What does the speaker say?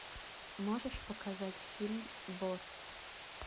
можешь показать фильм босс